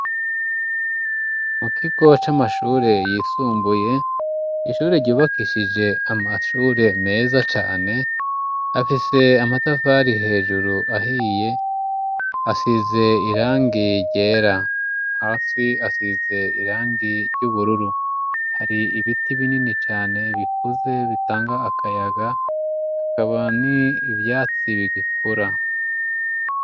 Mu kigo c'amashure yisumbuye ishure ryubakishije amashure meza cane afise amatafari hejuru ahiye asize irangi ryera hasi asize irangi ry'ubururu hari ibiti binini cane ane ibikuze bitanga akayaga hakaba ni ivyatsi bigikura.